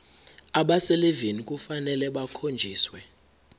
abaselivini kufanele bakhonjiswe